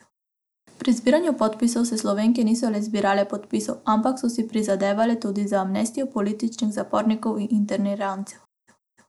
Pri zbiranju podpisov se Slovenke niso le zbirale podpisov, ampak so si prizadevale tudi za amnestijo političnih zapornikov in internirancev.